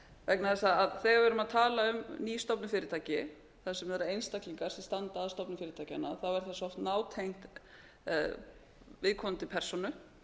vegna þess að þegar við erum að tala um nýstofnuð fyrirtæki þar sem eru einstaklingar sem standa að stofnun fyrirtækjanna þá er það svo nátengt viðkomandi persónu